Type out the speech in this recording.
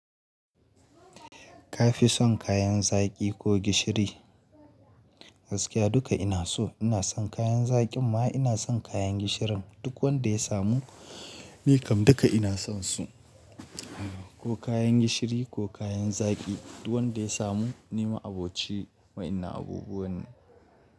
Ka fi son kayan zaƙi ko gishiri? Gaskiya duka ina so. Ina son kayan zaƙin ma ina son kayan gishirin. Duk wanda ya samu ni kam duka ina son su. Ko kayan gishiri ko kayan zaƙi, duk wanda ya samu ni, ma'aboci wayannan abubuwa ne.